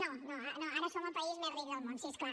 no no ara som el país més ric del món sí és clar